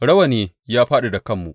Rawani ya fāɗi daga kanmu.